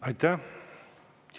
Aitäh!